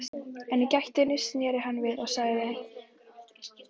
En í gættinni sneri hann við og sagði